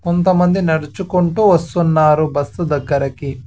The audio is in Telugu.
కొంతమంది నడుచుకుంటూ వస్తున్నారు బస్సు దగ్గరకి.